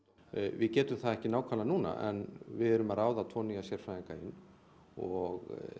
við getum það ekki nákvæmlega núna en við erum að ráða tvo nýja sérfræðinga inn og